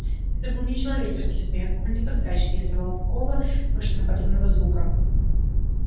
это был нечеловеческий смех он никогда ещё не издавал такого машиноподобного звука